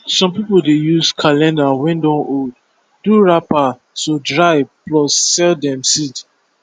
some people dey use calendar wey don old do wrapper to dry plus sell dem seed